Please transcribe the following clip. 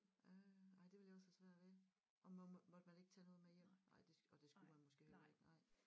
Øh ej det ville jeg også have svært ved og man måtte måtte man ikke tage noget med hjem nej det og det skulle man måske heller ikke nej